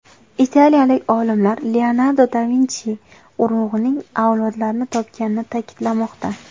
Italiyalik olimlar Leonardo da Vinchi urug‘ining avlodlarini topganini ta’kidlamoqda.